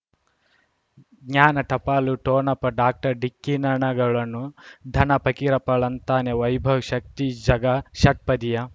ಜ್ಞಾನ ಟಪಾಲು ಠೊಣಪ ಡಾಕ್ಟರ್ ಢಿಕ್ಕಿ ಣಗಳನು ಧನ ಫಕೀರಪ್ಪ ಳಂತಾನೆ ವೈಭವ್ ಶಕ್ತಿ ಝಗಾ ಷಟ್ಪದಿಯ